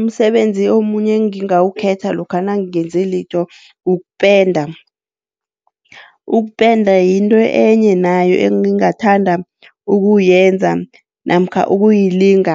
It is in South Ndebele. Umsebenzi omunye engingawukhetha lokha nangingenzilitho ukupenda. Ukupenda yinto enye nayo engingathanda ukuyenza namkha ukuyilinga.